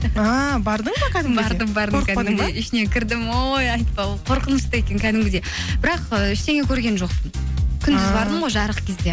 ааа бардың ба кәдімгідей ішіне кірдім ой айтпа қорқынышты екен кәдімгідей бірақ і ештеңе көрген жоқпын күндіз бардым ғой жарық кезде